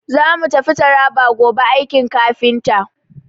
Za mu tafi Taraba gobe aiki kafinta.